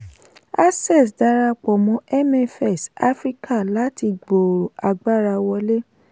access darapọ̀ mọ́ mfs africa láti gbòòrò agbára wọ̀lé.